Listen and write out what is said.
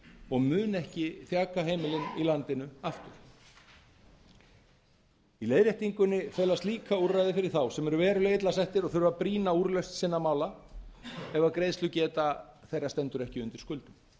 og mun ekki þjaka heimilin í landinu aftur í leiðréttingunni felast líka úrræði fyrir þá sem eru verulega illa settir og þurfa brýna úrlausn sinna mála ef greiðslugeta þeirra stendur ekki undir skuldum ef